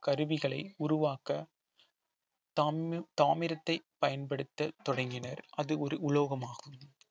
கருவிகளை உருவாக்க தாமி~ தாமிரத்தை பயன்படுத்த தொடங்கினர் அது ஒரு உலோகமாகும்